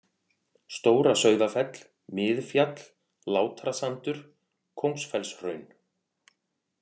Stóra-Sauðafell, Miðfjall, Látrasandur, Kóngsfellshraun